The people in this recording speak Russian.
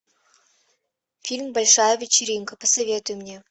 фильм большая вечеринка посоветуй мне